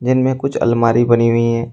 जिनमें कुछ अलमारी बनी हुई है।